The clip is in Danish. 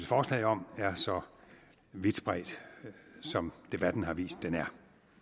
forslag om er så vidt spredt som debatten har vist det er